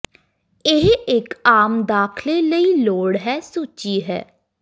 ਇਹ ਇੱਕ ਆਮ ਦਾਖਲੇ ਲਈ ਲੋੜ ਹੈ ਸੂਚੀ ਹੈ